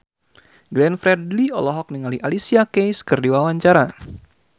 Glenn Fredly olohok ningali Alicia Keys keur diwawancara